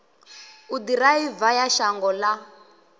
u ḓiraiva ya shango ḽa